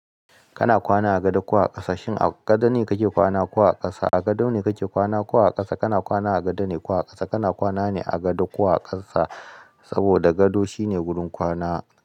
Kana kwana agada ko a ƙasa? Shin a gado ne kake kwana ko a ƙasa? A gado ne kake kwana ko a ƙasa? Kana kwana a gado ne ko a ƙasa? Kana kwana ne a gado ko a ƙasa? Saboda gado shine wurin kwana.